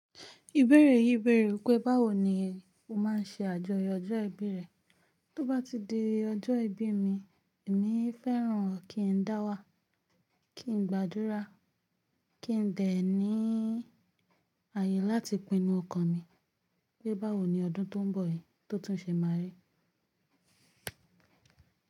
Ìbéèrè yí bẹ̀rẹ̀ wípé́ báwo ni o máa ń ṣe àjọyọ̀ ọjọ́ ìbí rẹ? Tó bá ti di ọjọ́ ìbí mi, èmi fẹ́ràn kí n dáwà, kí n gbàdúrà, kí n dẹ̀ ní ayé láti pinnu ọkàn mi pé báwo ni ọdún tó ń bọ̀ yí tó tún ṣe máa rí.